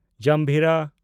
ᱡᱟᱢᱵᱷᱤᱨᱟ